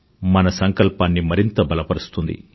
మన సంకల్పాన్ని మరింత బలపరుస్తుంది